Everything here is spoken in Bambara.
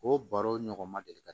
O baro ɲɔgɔn ma deli ka